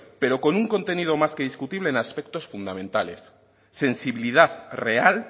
pero con un contenido más que discutible en aspectos fundamentales sensibilidad real